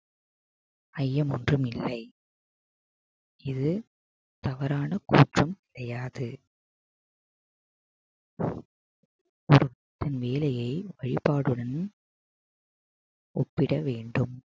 ஐயம் ஒன்றுமில்லை இது தவறான கூற்றும் கிடையாது வேலையை வழிபாடுடன் ஒப்பிட வேண்டும்